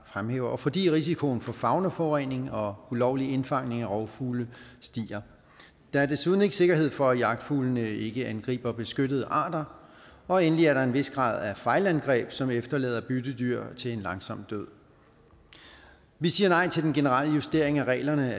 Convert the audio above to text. fremhæver og fordi risikoen for faunaforurening og ulovlig indfangning af rovfugle stiger der er desuden ikke sikkerhed for at jagtfuglene ikke angriber beskyttede arter og endelig er der en vis grad af fejlangreb som efterlader byttedyr til en langsom død vi siger nej til den generelle justering af reglerne